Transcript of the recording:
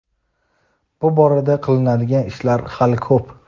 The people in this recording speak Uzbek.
bu borada qilinadigan ishlar hali ko‘p.